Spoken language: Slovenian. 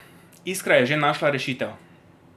Iskra je že našla rešitev.